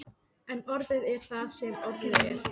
En orðið er það sem orðið er.